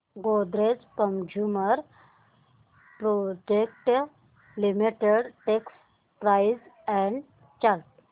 Godrej consumer products limited stock price and chart